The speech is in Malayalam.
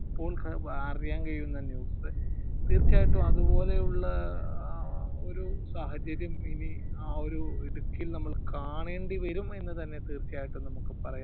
ഇപ്പോൾ അറിയാൻ കഴിയുന്നത് തീർച്ചയായിട്ടും അതുപോലെ ഉള്ള ആ ഒരു സാഹചര്യം ഇനി ആ ഒരു ഇടുക്കിയിൽ നമ്മൾ കാണേണ്ടി വരും എന്ന് തന്നെ തീർച്ചയായിട്ടും നമ്മുക്ക് പറയാം.